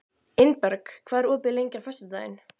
Ingberg, hvað er opið lengi á föstudaginn?